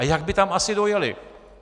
A jak by tam asi dojely?